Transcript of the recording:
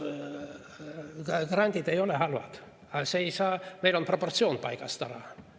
Grandid ei ole halvad, aga meil on proportsioon paigast ära.